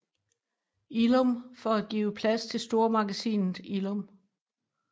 Illum for at give plads til stormagasinet Illum